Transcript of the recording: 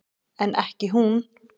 En ekki hún.